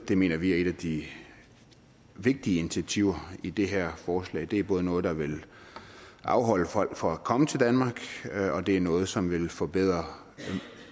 det mener vi er et af de vigtige initiativer i det her forslag det er både noget der vil afholde folk fra at komme til danmark og det er noget som vil forbedre